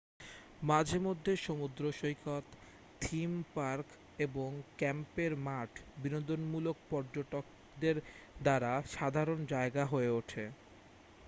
মাঝে মধ্যে সমুদ্রসৈকত থিম পার্ক এবং ক্যাম্পের মাঠ বিনোদনমূলক পর্যটকদের দ্বারা সাধারণ জায়গা হয়ে ওঠে